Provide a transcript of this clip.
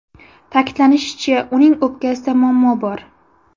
Ta’kidlanishicha, uning o‘pkasida muammo bor.